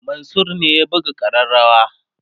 Mansur ne ya buga kareawa